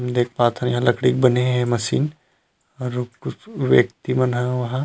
देख पाथन यहाँ लकड़ी के बने हे ये मशीन और कुछ व्यक्ति मन ह उहाँ--